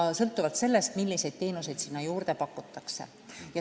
Hind sõltub sellest, milliseid teenuseid juurde pakutakse.